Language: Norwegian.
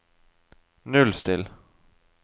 nullstill